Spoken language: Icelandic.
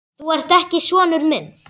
Þú ert ekki sonur minn.